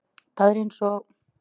Það er eins og